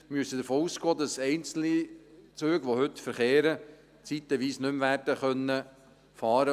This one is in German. Wir müssen davon ausgehen, dass einzelne Züge, die heute verkehren, zeitweise nicht mehr werden fahren können.